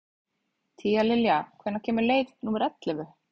Tíalilja, hvenær kemur leið númer ellefu?